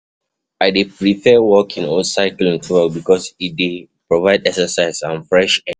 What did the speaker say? I dey prefer walking or cycling to work because e dey dey provide exercise and fresh air.